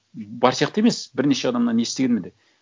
бар сияқты емес бірнеше адамнан естігенмін де